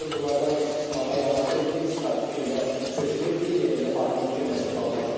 Burada istismara yararsız bir sıra tikililər sökülüb ki, yerində parkın tikilməsi planlaşdırılır.